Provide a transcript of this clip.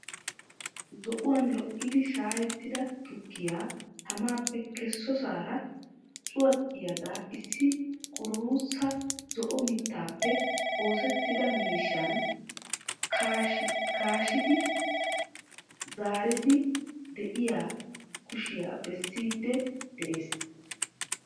Zo"uwan lo"idi shaayettida tukkiya tamappe kessosaara cuwaxxiyaagaa issi qururuusa zo"o mittaappe oosettida miishshan kaashi kaashidi zaariiddi de"iyaa kushiya bessiiddi de'ees.